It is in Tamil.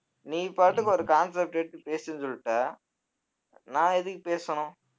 நீ பாட்டுக்கு ஒரு concept எடுத்து பேசுன்னு சொல்லிட்ட நான் எதுக்கு பேசணும்